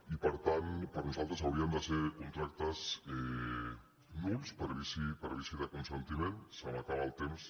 i per tant per nosaltres hauri·en de ser contractes nuls per vici de consentiment se m’acaba el temps